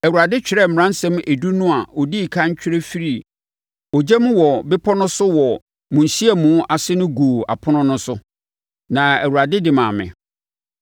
Awurade twerɛɛ Mmaransɛm Edu no a ɔdii ɛkan twerɛ firii ogya mu wɔ bepɔ no so wɔ mo nhyiamu ase no guu apono no so. Na Awurade de maa me.